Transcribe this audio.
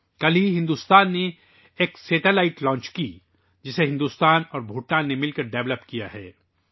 ابھی کل ہی بھارت نے ایک سیٹلائٹ لانچ کیا ہے ، جسے بھارت اور بھوٹان نے مشترکہ طور پر تیار کیا ہے